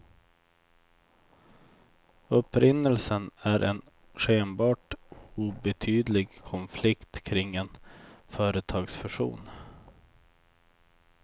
Upprinnelsen är en skenbart obetydlig konflikt kring en företagsfusion.